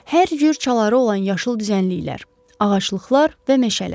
Hər cür çaları olan yaşıl düzənliklər, ağaclıqlar və meşələr.